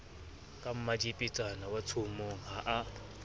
ka mmadiepetsana watshomong ha a